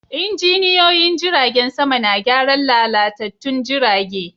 Injiniyoyin jiragen sama na gyaran lalatattun jirage.